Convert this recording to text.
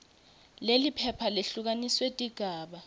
leliphepha lehlukaniswe tigaba